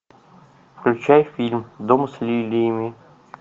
включай фильм дом с лилиями